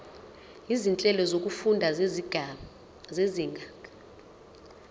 izinhlelo zokufunda zezinga